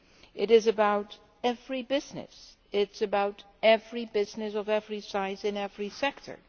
It is about every business, it is about every business of every size in every sector.